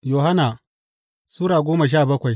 Yohanna Sura goma sha bakwai